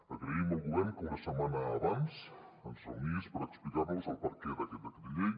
agraïm al govern que una setmana abans ens reunís per explicar nos el perquè d’aquest decret llei